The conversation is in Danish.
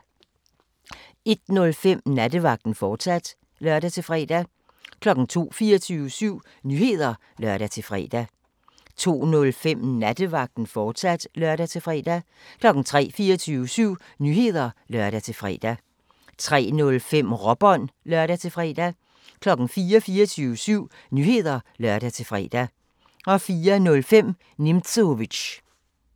01:05: Nattevagten, fortsat (lør-fre) 02:00: 24syv Nyheder (lør-fre) 02:05: Nattevagten, fortsat (lør-fre) 03:00: 24syv Nyheder (lør-fre) 03:05: Råbånd (lør-fre) 04:00: 24syv Nyheder (lør-fre) 04:05: Nimzowitsch